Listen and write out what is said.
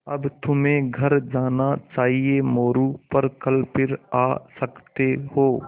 अब तुम्हें घर जाना चाहिये मोरू पर कल फिर आ सकते हो